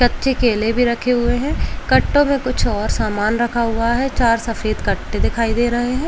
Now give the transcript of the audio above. कच्चे केले भी रखे हुए हैं। कट्टों पे कुछ और सामान रखा हुआ है। चार सफेद कट्टें दिखाई दे रहे हैं।